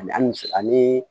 An ni cɛ ani